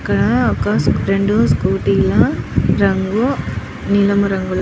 ఇక్కడ రెండు స్కూటీ లా రంగు నీలిమ రాగులో --